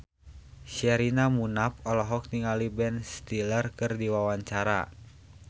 Sherina Munaf olohok ningali Ben Stiller keur diwawancara